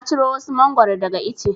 Na ciro wasu Mangwaro daga ice.